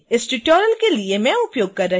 इस ट्यूटोरियल के लिए मैं उपयोग कर रही हूँ